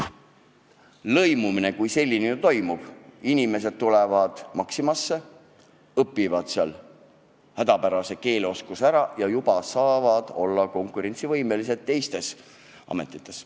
Lõimumine kui selline ju toimub, inimesed tulevad Maximasse, omandavad seal hädapärase keeleoskuse ja siis juba saavad olla konkurentsivõimelised teistes ametites.